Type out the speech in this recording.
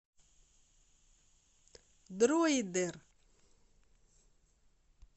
дроидер